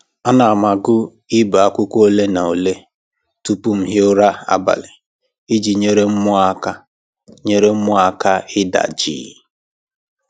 Ana m agụ ibe akwụkwọ ole na ole tupu m hie ụra abalị iji nyere mmụọ aka nyere mmụọ aka ịda jii